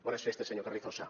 bones festes senyor carrizosa